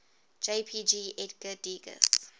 jpg edgar degas